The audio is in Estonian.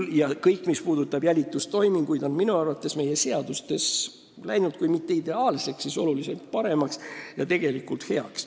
Kõik jälitustoiminguid puudutavad sätted on minu arvates meie seadustes kui mitte ideaalsed, siis oluliselt paremaks läinud.